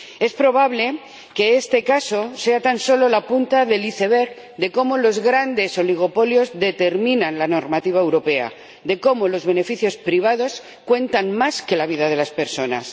Es probable que este caso sea tan solo la punta del iceberg de cómo los grandes oligopolios determinan la normativa europea, de cómo los beneficios privados cuentan más que la vida de las personas.